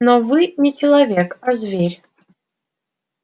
но вы не человек а зверь